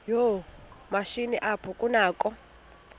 yoomatshini apho kunakho